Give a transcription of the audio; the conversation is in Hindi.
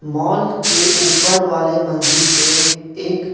मॉल के ऊपर वाले मंजिल पे एक --